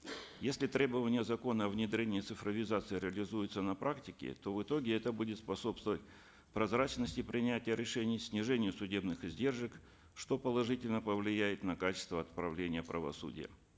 если требования закона о внедрении цифровизации реализуются на практике то в итоге это будет способствовать прозрачности принятия решений снижению судебных издержек что положительно повлияет на качество отправления правосудия